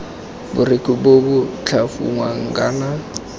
borekhu bo bo tlhafunwang kana